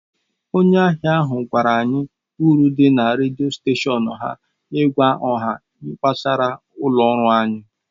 Onye ahịa ahụ gwara anyị uru dị na redio steshọn ha ịgwa ọha gbasara ụlọ ọrụ anyị.